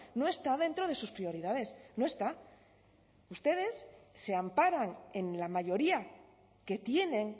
no está dentro de sus prioridades no está ustedes se amparan en la mayoría que tienen